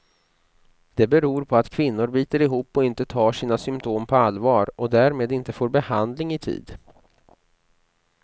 Det beror på att kvinnor biter ihop och inte tar sina symptom på allvar, och därmed inte får behandling i tid.